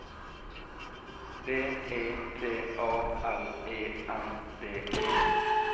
B E T A L E N D E